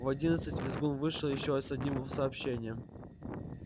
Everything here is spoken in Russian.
в одиннадцать визгун вышел ещё с одним сообщением